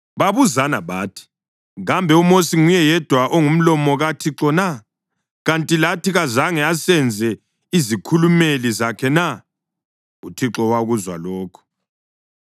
Babuzana bathi: “Kambe uMosi nguye yedwa ongumlomo kaThixo na? Kanti lathi kazange asenze izikhulumeli zakhe na?” UThixo wakuzwa lokhu.